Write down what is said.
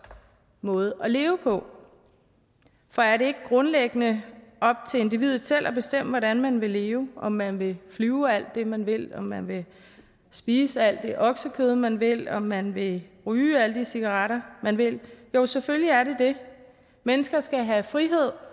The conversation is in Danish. måde at leve på for er det ikke grundlæggende op til individet selv at bestemme hvordan man vil leve om man vil flyve alt det man vil om man vil spise alt det oksekød man vil og om man vil ryge alle de cigaretter man vil jo selvfølgelig er det det mennesker skal have frihed